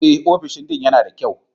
Eh, ofishin Dean yana da kyau.